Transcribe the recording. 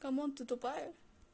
камон ты тупая